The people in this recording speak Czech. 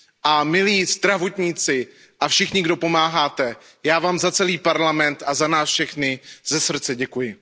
A milí zdravotníci a všichni, kdo pomáháte, já vám za celý Parlament a za nás za všechny ze srdce děkuji.